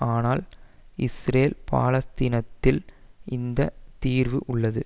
ஆனால் இஸ்ரேல் பாலஸ்தீனத்தில்தான் அந்த தீர்வு உள்ளது